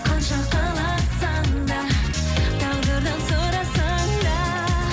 қанша қаласаң да тағдырдан сұрасаң да